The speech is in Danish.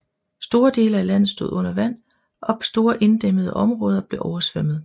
Store dele af landet stod under vand og store inddæmmede områder blev oversvømmet